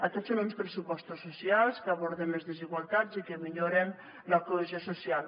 aquests són uns pressupostos socials que aborden les desigualtats i que milloren la cohesió social